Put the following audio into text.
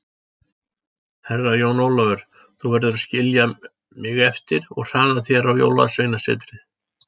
Herra Jón Ólafur, þú verður að skilja mig eftir og hraða þér á Jólasveinasetrið.